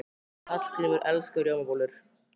Hallgrímur elskar rjómabollur.